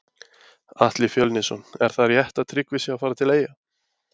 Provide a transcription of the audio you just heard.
Atli Fjölnisson Er það rétt að Tryggvi sé að fara til eyja?